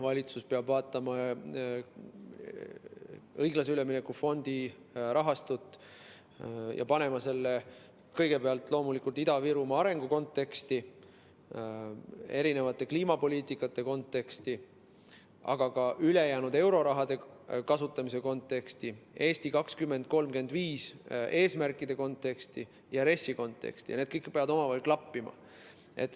Valitsus peab vaatama õiglase ülemineku fondi rahastut ja panema selle kõigepealt loomulikult Ida‑Virumaa arengu konteksti, kliimapoliitika konteksti, aga ka ülejäänud euroraha kasutamise konteksti, "Eesti 2035" eesmärkide konteksti ja RES-i konteksti ning need kõik peavad omavahel klappima.